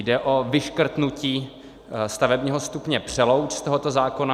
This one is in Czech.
Jde o vyškrtnutí stavebního stupně Přelouč z tohoto zákona.